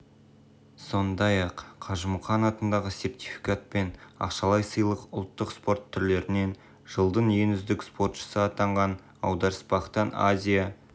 сондай-ақ қажымұқан атындағы сертификат пен ақшалай сыйлық ұлттық спорт түрлерінен жылдың үздік спортшысы атанған аударыспақтан азия